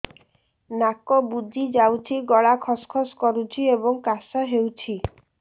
ନାକ ବୁଜି ଯାଉଛି ଗଳା ଖସ ଖସ କରୁଛି ଏବଂ କାଶ ହେଉଛି